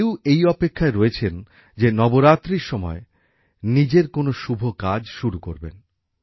কেউ এই অপেক্ষায় রয়েছেন যে নবরাত্রির সময়ে নিজের কোন শুভ কাজ শুরু করবেন